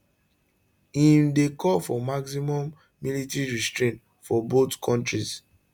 im dey call for maximum military restraint from both kontris